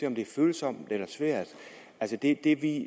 om det er følsomt eller svært det det vi